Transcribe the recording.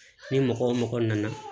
Ni mɔgɔ wo mɔgɔ nana